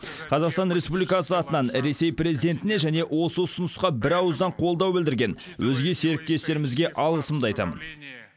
қазақстан республикасы атынан ресей президентіне және осы ұсынысқа бірауыздан қолдау білдірген өзге серіктестерімізге алғысымды айтамын